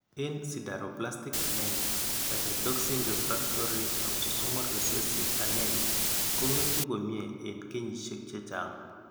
En sideroblastic anemia pyrodoxine refraxctory autosomal recessive anemia ko ngetu komye en kenyisiek chechang